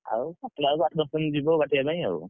ଆଉ ଲାଗୁଛି ଆଉ ଆଠ ଦଶ ଦିନ ଯିବ କାଟିବା ପାଇଁ।